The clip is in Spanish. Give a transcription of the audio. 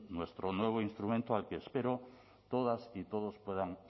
nuestro nuevo instrumento al que espero que todas y todos puedan